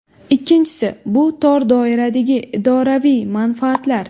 Ikkinchisi , bu tor doiradagi idoraviy manfaatlar.